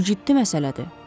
Bu ciddi məsələdir.